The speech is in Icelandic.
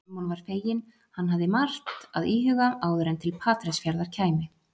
Símon var feginn, hann hafði margt að íhuga áður en til Patreksfjarðar kæmi.